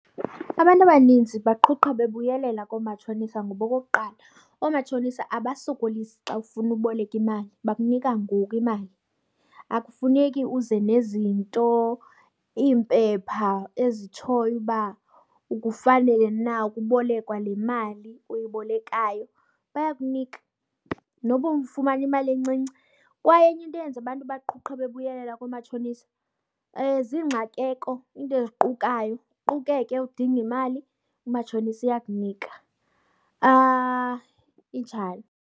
Abantu abaninzi baqhuqha bebuyelela koomatshonisa ngoba okokuqala oomatshonisa abasokolisi xa ufuna uboleka imali, bakunika ngoku imali. Akufuneki uze nezinto, iimpepha ezitshoyo uba ukufanelwe na ukubolekwa le mali uyibolekayo. Bayakunika noba ufumana imali encinci. Kwaye enye into eyenza abantu baqhuqhe bebuyelela koomatshonisa ziingxakeko, iinto eziqukayo. Uqukeke udinge imali, umatshonisa uyakunika. Injalo.